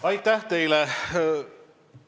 Aitäh teile!